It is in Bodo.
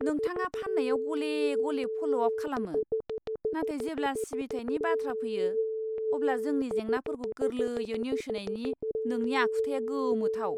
नोंथाङा फाननायाव गले गले फ'ल' आप खालामो, नाथाय जेब्ला सिबिथायनि बाथ्रा फैयो, अब्ला जोंनि जेंनाफोरखौ गोरलैयै नेवसिनायनि नोंनि आखुथाया गोमोथाव।